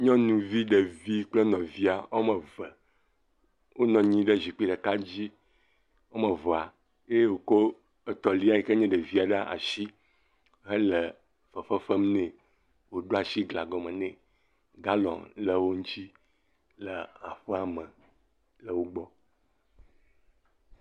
Nyɔnuvi ɖevi kple nɔvia, woame eve, wonɔ anyi ɖe zikpui ɖeka dzi, woame vea eye wòkɔ etɔ̃lia yike nye ɖevi ɖe asi hele fefe fem nɛ, wòɖo asi gla gɔmɔ ne, galɔ le wo ŋuti le aƒea me le wo gbɔ.